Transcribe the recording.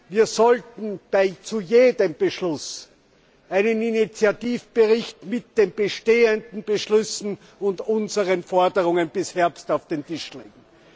Wir sollten zu jedem Beschluss einen Initiativbericht mit den bestehenden Beschlüssen und unseren Forderungen bis Herbst auf den Tisch legen.